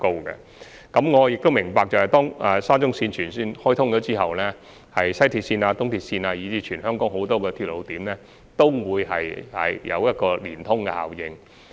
我亦明白到，當沙中綫全線開通後，西鐵綫、東鐵綫以至全港很多鐵路點均會出現聯通效應。